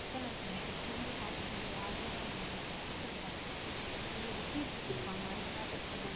பித்தளைல இருக்கும் செம்பு பாத்திரம்ன்னு சொல்லி அதுலதான் நாங்க வைப்போம் பித்தள பாத்திரம் எங்களுக்கு சீர் கொடுத்திருப்பாங்க அந்த பாத்திரத்துல